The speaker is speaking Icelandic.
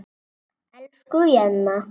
Elsku Jenna.